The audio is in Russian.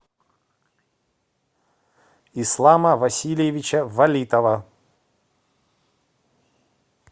ислама васильевича валитова